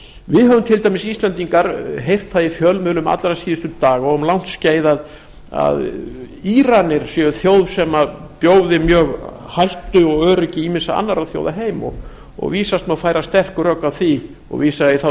við höfum til dæmis íslendingar heyrt það í fjölmiðlum allra síðustu daga og um langt skeið að íranir séu þjóð sem bjóði mjög hættu og öryggi ýmissa annarra þjóða heim vísast má færa sterk rök fyrir því og vísa ég þá